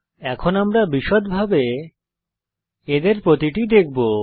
এখন আমরা বিষদভাবে এদের প্রতিটি দেখবো